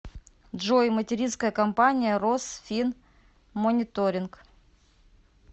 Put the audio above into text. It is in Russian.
джой материнская компания росфинмониторинг